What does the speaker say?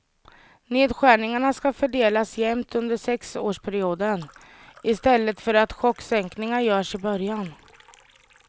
Nedskärningarna ska fördelas jämnt under sexårsperioden, i stället för att chocksänkningar görs i början.